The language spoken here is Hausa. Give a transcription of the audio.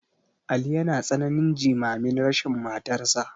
Ali yana tsananin jimamin rashin matarsa.